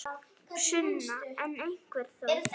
Sunna: En einhver þó?